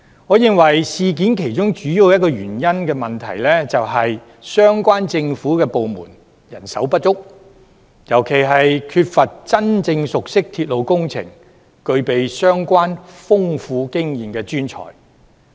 我認為事件其中一個主要問題，是相關政府部門人手不足，尤其缺乏真正熟悉鐵路工程、具備相關豐富經驗的專才。